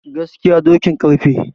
Gaskiya dokin karfe.